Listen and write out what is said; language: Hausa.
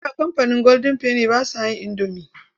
A da kamfanin golden penny ba sa yin indomi.